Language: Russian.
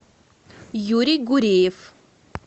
юрий гуреев